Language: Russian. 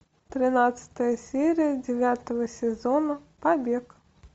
тринадцатая серия девятого сезона побег